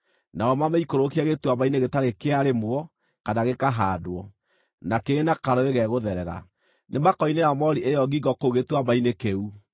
nao mamĩikũrũkie gĩtuamba-inĩ gĩtarĩ kĩarĩmwo kana gĩkahaandwo, na kĩrĩ na karũũĩ gegũtherera. Nĩmakoinĩra moori ĩyo ngingo kũu gĩtuamba-inĩ kĩu.